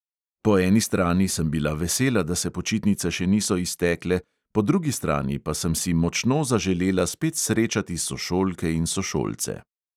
Po eni strani sem bila vesela, da se počitnice še niso iztekle, po drugi strani pa sem si močno zaželela spet srečati sošolke in sošolce.